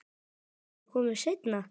Geturðu ekki komið seinna?